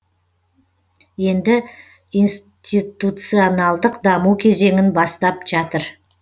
енді институционалдық даму кезеңін бастап жатыр